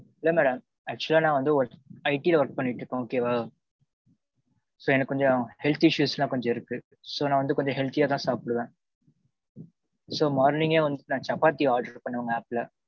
இல்ல madam actual. ஆ நா வந்து ஒரு IT work பண்ணிட்டு இருக்கோன் okay. வா so எனக்கு கொஞ்சம். health issues எல்லாம் கொஞ்சம் இருக்கு. so, நான் வந்து கொஞ்சம் healthy யா தான் சாப்பிடுவேன். so morning யே வந்துட்டு நான் சப்பாத்தி order பண்ணேன் உங்க app ல okay வா